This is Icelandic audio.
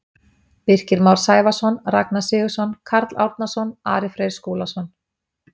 Birkir Már Sævarsson Ragnar Sigurðsson Kári Árnason Ari Freyr Skúlason